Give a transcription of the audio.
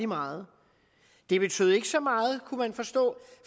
meget det betød ikke så meget kunne man forstå